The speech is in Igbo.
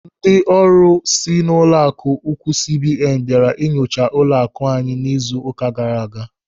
Ndị ọrụ si n'ụlọaku ukwuu CBN bịara inyocha ụlọaku anyị n'izu ụka gaara aga.